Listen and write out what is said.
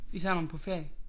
Især når man på ferie